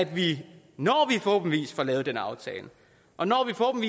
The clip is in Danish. vi forhåbentlig får lavet den aftale og når